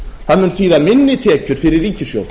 það mun þýða minni tekjur fyrir ríkissjóð